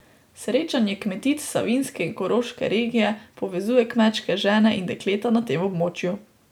Srečanje kmetic savinjske in koroške regije povezuje kmečke žene in dekleta na tem območju.